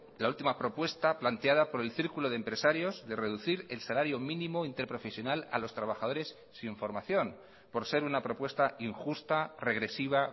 la última propuesta planteada por el círculo de empresarios de reducir el salario mínimo interprofesional a los trabajadores sin formación por ser una propuesta injusta regresiva